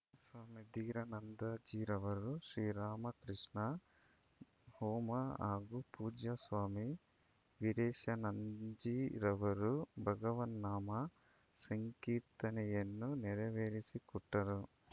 ಸ್ವಾಮಿ ಧೀರಾನಂದಜೀರವರು ಶ್ರೀ ರಾಮಕೃಷ್ಣ ಹೋಮ ಹಾಗೂ ಪೂಜ್ಯ ಸ್ವಾಮಿ ವೀರೇಶಾನಂಜೀರವರು ಭಗವನ್ನಾಮ ಸಂಕೀರ್ತನೆಯನ್ನು ನೆರವೇರಿಸಿಕೊಟ್ಟರು